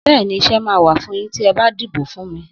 Bẹ́ẹ̀ni, Iṣẹ máa wà fún yín tí ẹ bà dìbò fún mi